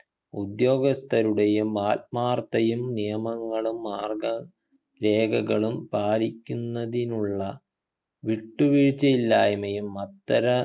ഉദ്യോഗസ്ഥയുടെയും ആത്മാർത്ഥതയും നിയമങ്ങളും മാർഗ രേഖകളും പാലിക്കുന്നതിനുള്ള വിട്ടുവീഴ്ചയില്ലായ്മയും അത്തര